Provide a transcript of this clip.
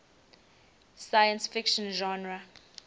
science fiction genre